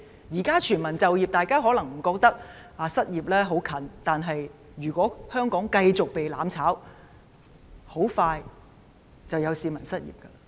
現在全民就業，大家可能不覺得失業的問題很近，但如果香港繼續被"攬炒"，很快便會有市民失業。